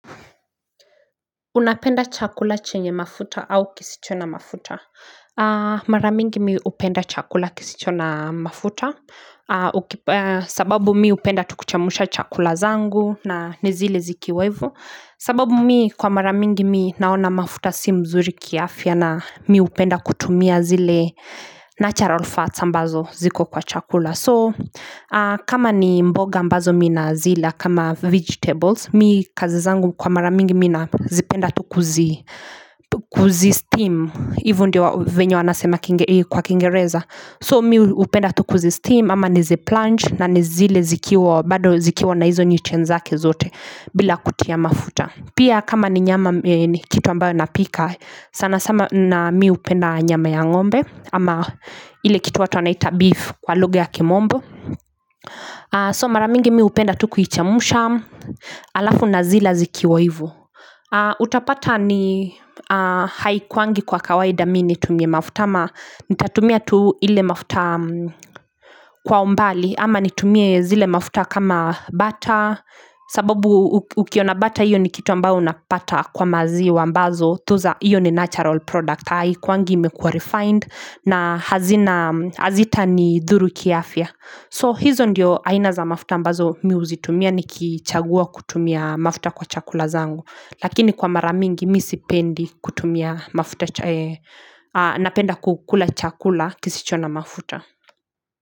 Unapenda chakula chenye mafuta au kisicho na mafuta? Maramingi mi upenda chakula kisichona mafuta. Sababu mimi hupenda tu kuchemsha chakula zangu na nizile zikiwa hivyo. Sababu mimi kwa mara mingi mimi naona mafuta si mzuri kiafya na mimi hupenda kutumia zile natural fats ambazo ziko kwa chakula. So kama ni mboga mbazo mimi nina zila kama vegetables Mimi kazi zangu kwa mara mingi mimi nina zipenda tukuzi steam Hivyo ndio vile wanasema kwa kingereza So mimi hupenda tu kuzi steam ama nizi plunge na nizile zikiwa bado zikiwa na hizo nutrients zake zote bila kutia mafuta Pia kama ni nyama ni kitu ambayo napika sana sana na mimi hupenda nyama ya ngombe ama ile kitu watu wanaita beef kwa lugha ya kimombo So mara mingi mimi hupenda tu kuichemsha Alafu na zila zikiwa hivyo Utapata ni haikuwangi kwa kawaida mimi nitumie mafuta ama Nitatumia tu ile mafuta kwa umbali ama nitumie zile mafuta kama butter sababu ukiona botter hiyo ni kitu ambayo unapata kwa maziwa ambayo hiyo ni natural product Haikuwangi imekua refined na hazita nidhuru kiafya So hizo ndio aina za mafuta ambazo mimi huzitumia nikichagua kutumia mafuta kwa chakula zangu Lakini kwa mara mingi mimi sipendi kutumia mafuta Napenda kukula chakula kisicho na mafuta.